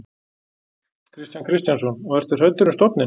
Kristján Kristjánsson: Og ertu hræddur um stofninn?